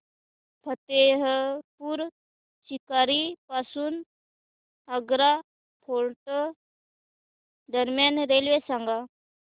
फतेहपुर सीकरी पासून आग्रा फोर्ट दरम्यान रेल्वे सांगा